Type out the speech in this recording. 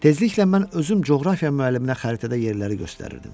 Tezliklə mən özüm coğrafiya müəlliminə xəritədə yerləri göstərirdim.